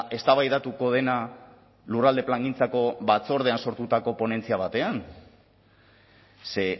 eztabaidatuko dena lurralde plangintzako batzordean sortutako ponentzia batean ze